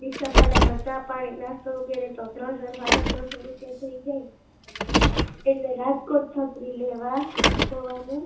ડીસા ભાડામાં ચા પાણી નાસ્તો વગેરે તો ત્રણસો સાડા ત્રણસો રૂપિયા થઈ જાય એટલે રાજકોટ છત્રી લેવા જવાનું